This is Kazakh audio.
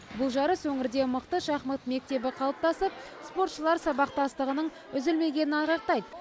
бұл жарыс өңірде мықты шахмат мектебі қалыптасып спортшылар сабақтастығының үзілмегенін айғақтайды